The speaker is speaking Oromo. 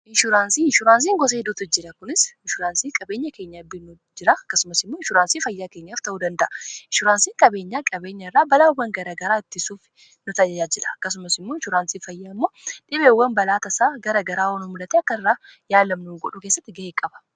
inshuraansiin gosa hiduuta jira kunis inshuraansiin qabeenya keenya biinu jira kasumas imu inshuraansii fayyaa keenyaaf ta'uu danda'a inshuraansiin qabeenyaa qabeenya irraa balaawwan gara garaa ittisuuf nutaayaa jila kasumas immuu insuuraansii fayyaa ammoo dhibeewwan balaata isaa gara garaa hon mulata akka irraa yaalamnu godhu keessatti ga'ee qaba